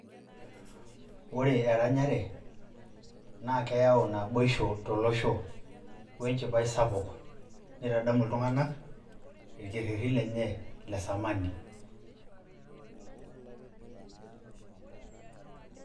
ore eranyare naa keyau naboisho tolosho we enchipai sapuk nitadamu iltunganak irkeretin lenye le samani.